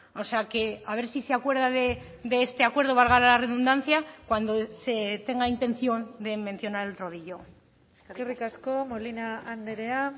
o sea que a ver si se acuerda de este acuerdo valga la redundancia cuando se tenga intención de mencionar el rodillo eskerrik asko molina andrea